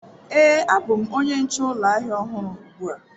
Ee, abụ m onye nche ụlọ ahịa ọhụrụ ugbu a.